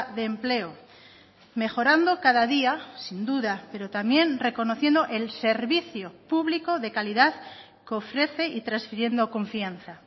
de empleo mejorando cada día sin duda pero también reconociendo el servicio público de calidad que ofrece y transfiriendo confianza